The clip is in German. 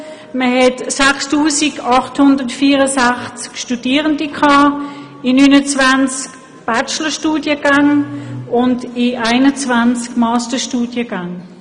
Es gab 6864 Studierende in 29 Bachelorstudiengängen und in 21 Masterstudiengängen.